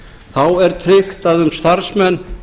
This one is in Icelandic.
þá er tryggt að um starfsmenn